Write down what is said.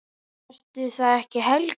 Ertu það ekki, Helga mín?